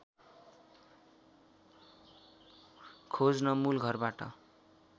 खोज्न मूलघरबाट